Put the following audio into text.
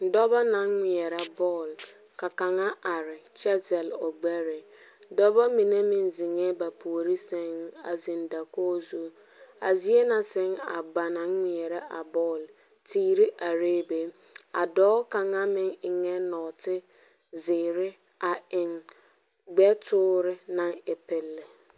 Dͻbͻ naŋ ŋmeԑrԑ bͻl. ka kaŋa are kyԑ zԑle o gbԑre. dͻbͻ mine meŋ zeŋԑԑ ba puori sԑŋ a zeŋ dakogi zu. A zie na sԑŋ ba ŋmeԑrԑ a bͻl teere arԑԑ be. A dͻͻ kaŋa meŋ eŋԑԑ nͻͻte zeere a eŋ gbԑ toore naŋ e pele.